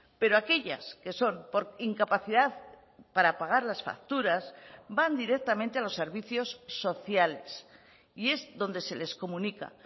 pero aquellas que son por incapacidad para pagar las facturas van directamente a los servicios sociales y es donde se les comunica